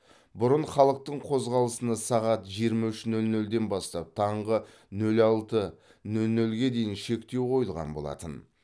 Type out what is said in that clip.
бұрын халықтың қозғалысына сағат жиырма үш нөл нөлден бастап таңғы нөл алты нөл нөлге дейін шектеу қойылған болатын